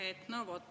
Aitäh!